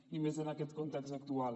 i més en aquest context actual